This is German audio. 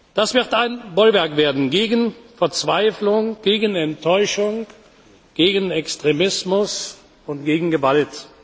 Das wird ein Bollwerk werden gegen Verzweiflung, gegen Enttäuschung, gegen Extremismus und gegen Gewalt.